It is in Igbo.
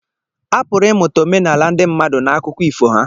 A pụrụ ịmụta omenala ndị mmadụ n'akụkọ ifo ha.